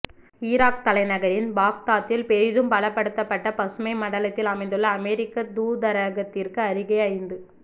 Iraq தலைநகரின் பாக்தாத்தில் பெரிதும் பலப்படுத்தப்பட்ட பசுமை மண்டலத்தில் அமைந்துள்ள அமெரிக்க தூதரகத்திற்கு அருகே ஐந்து